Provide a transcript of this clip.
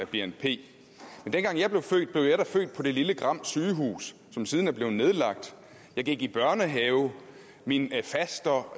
bnp men dengang jeg blev født blev jeg da født på det lille gram sygehus som siden er blevet nedlagt jeg gik i børnehave min faster